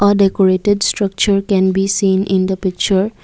a decorated structure can be seen in the picture.